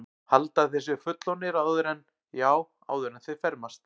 Halda að þeir séu fullorðnir áður en, já, áður en þeir fermast.